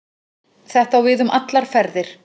Þetta á við um allar ferðir